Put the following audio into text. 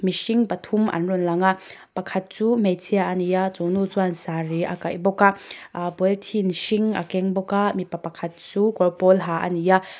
mihring pathum an rawn lang a pakhat chu hmeichhia a ni a chu ni chuan sari a kaih bawk a a-a pawlithin hring a keng bawk a mipa pakhat chu kawr pawl ha a ni a.